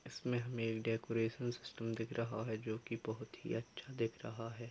इसमें हमें एक डेकोरेशन सिस्टम दिख रहा है जो कि बहुत ही अच्छा दिख रहा है।